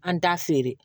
An t'a feere